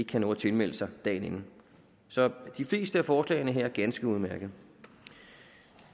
kan nå at tilmelde sig dagen inden så de fleste af forslagene her er ganske udmærkede